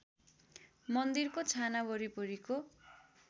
मन्दिरको छाना वरिपरिको